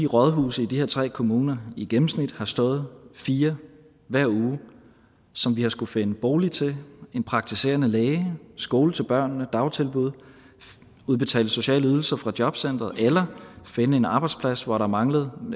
rådhusene i de her tre kommuner i gennemsnit har stået fire hver uge som vi har skullet finde bolig til en praktiserende læge skole til børnene dagtilbud udbetale sociale ydelser fra jobcenteret eller finde en arbejdsplads hvor der manglede